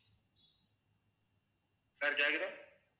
sir கேக்குதுதா